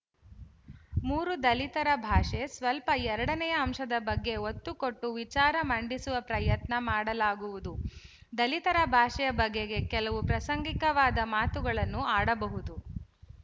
ಮೂರು ದಲಿತರ ಭಾಷೆ ಸ್ವಲ್ಪ ಎರಡನೆಯ ಅಂಶದ ಬಗ್ಗೆ ಒತ್ತುಕೊಟ್ಟು ವಿಚಾರ ಮಂಡಿಸುವ ಪ್ರಯತ್ನ ಮಾಡಲಾಗುವುದು ದಲಿತರ ಭಾಷೆಯ ಬಗೆಗೆ ಕೆಲವು ಪ್ರಾಸಂಗಿಕವಾದ ಮಾತುಗಳನ್ನು ಆಡಬಹುದು